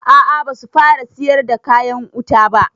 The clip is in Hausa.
A a basu fara siyar da kayan wuta ba.